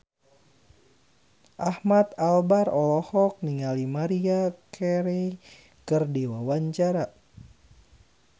Ahmad Albar olohok ningali Maria Carey keur diwawancara